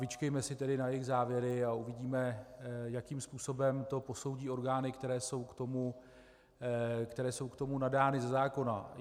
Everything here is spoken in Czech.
Vyčkejme si tedy na jejich závěry a uvidíme, jakým způsobem to posoudí orgány, které jsou k tomu nadány ze zákona.